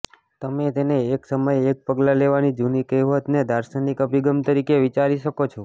તમે તેને એક સમયે એક પગલા લેવાની જૂની કહેવતને દાર્શનિક અભિગમ તરીકે વિચારી શકો છો